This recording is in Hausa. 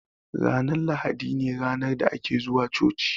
Ranar lahadi ne ranar da ake zuwa coci